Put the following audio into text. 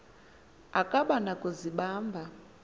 akaba na kuzibamba